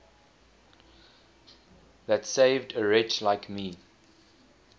that saved a wretch like me